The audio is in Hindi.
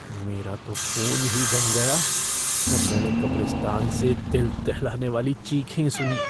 मेरा तो खून ही जम गया जब मैंने कब्रिस्तान से दिल दहलाने वाली चीखें सुनीं।